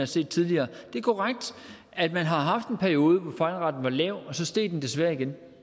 set tidligere det er korrekt at man har haft en periode hvor fejlraten var lav og så steg den desværre igen